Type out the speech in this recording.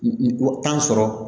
N ko sɔrɔ